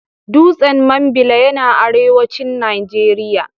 Dutsen Mambila yana arewacin Najeriya.